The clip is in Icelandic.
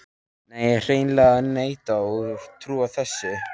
Nei, ég hreinlega neita að trúa þessu.